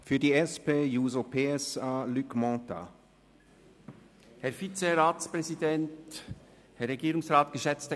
Für die SP-JUSO-PSA-Fraktion spricht Grossrat Mentha.